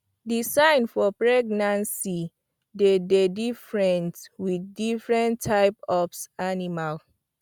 the sign for pregnancy dey dey difrent with diffrent types of animals